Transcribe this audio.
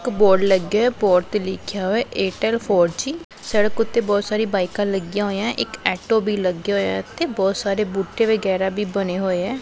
ਇੱਕ ਬੋਰਡ ਲੱਗਿਆ ਹੋਇਆ ਬੋਰਡ ਤੇ ਲਿਖਿਆ ਹੋਇਆ ਹੈ ਏਅਰਟੈਲ ਫੋਰ ਜੀ ਸੜਕ ਓੱਤੇ ਬੋਹੁਤ ਸਾਰੀ ਬਾਇਕਾਂ ਲੱਗੀਆਂ ਹੋਈਆਂ ਹੈਂ ਇੱਕ ਆਟੋ ਵੀ ਲੱਗਾ ਹੋਇਆ ਹੈ ਇੱਥੇ ਬੋਹੁਤ ਸਾਰੇ ਬੂਟੇ ਵਗੈਰਾ ਵੀ ਬਨੇ ਹੋਏ ਹੈ।